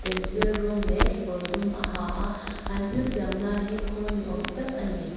sil rawng leh kekawr dum a ha a an thil siam lai hi khawl ni awm tak ani.